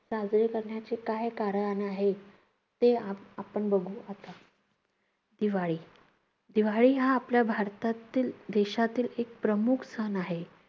साजरे करण्याचे काय कारण आहे? ते आपण आपण बघू आता. दिवाळी. दिवाळी हा आपल्या भारतातील, देशातील एक प्रमुख सण आहे.